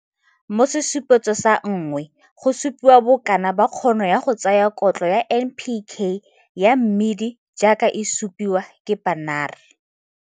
Mo Sesupetso sa 1, go supiwa bokana ba kgono ya go tsaya kotlo ya NPK ya mmidi jaaka e supiwa ke Pannar.